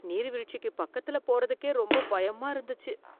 நீர்வீழ்ச்சிக்கு பக்கத்துல போறதுக்கே ரொம்ப பயமா இருந்துச்சு